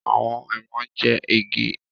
Awọn èèmọ ń jẹ igi